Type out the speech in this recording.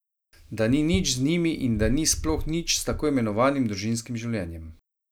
Da ni nič z njimi in da ni sploh nič s tako imenovanim družinskim življenjem.